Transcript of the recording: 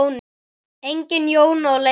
Engin Jóna að leita til.